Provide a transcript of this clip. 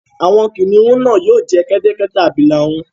Àwọn kìnnìún náà yóò jẹ kẹ́tẹ́kẹ́tẹ́ àbílà rún